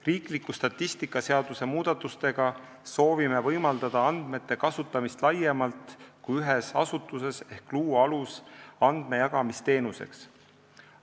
Riikliku statistika seaduse muudatustega soovime võimaldada andmete kasutamist laiemalt kui ühes asutuses ehk luua aluse andmejagamisteenuseks.